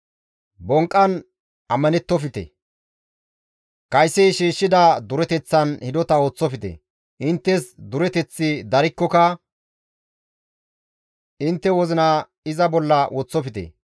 Bonqqan ammanettofte; kaysi shiishshida dureteththan hidota ooththofte. Inttes dureteththi darikkoka intte wozina iza bolla woththofte.